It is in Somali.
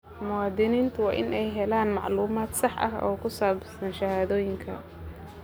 Muwaadiniintu waa in ay helaan macluumaad sax ah oo ku saabsan shahaadooyinka.